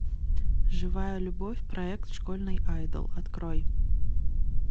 живая любовь проект школьный айдол открой